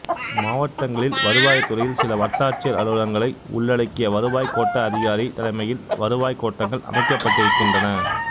மாவட்டங்களில் வருவாய்த்துறையில் சில வட்டாட்சியா் அலுவலகங்களை உள்ளடக்கி வருவாய்க் கோட்ட அதிகாரி தலைமையில் வருவாய் கோட்டங்கள் அமைக்கப்பட்டிருக்கின்றன